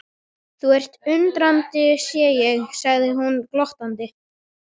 Þú ert undrandi sé ég, segir hún glottandi.